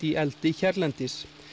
í eldi hérlendis